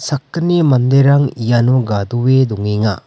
sakgni manderang iano gadoe dongenga.